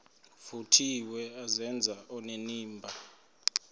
vuthiwe azenze onenimba